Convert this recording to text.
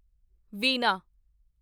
ਵੀਨਾ